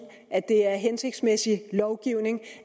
at det er hensigtsmæssig lovgivning